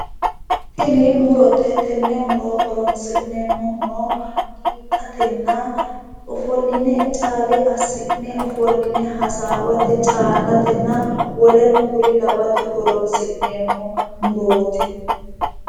Tini murote tenne muro horonsi'neemmohuno giidhatenna ofolline caale assi'ne ofolline hasaawate caa'latenna woleno kuri lawate horonsi'neemmo muroot.